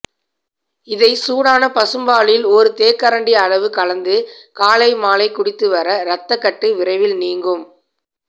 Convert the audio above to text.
இதை சூடான பசும்பாலில் ஒரு தேக்கரண்டி அளவு கலந்து காலை மாலை குடித்து வர ரத்த கட்டு விரைவில் நீங்கும்